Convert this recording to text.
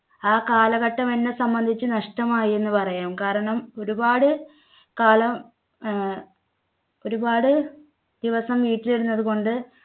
ആ കാലഘട്ടം എന്നെ സംബന്ധിച്ച് നഷ്ടമായി എന്ന് പറയാം. കാരണം ഒരുപാട് കാലം അഹ് ഒരുപാട് ദിവസം വീട്ടിലിരുന്നത് കൊണ്ട്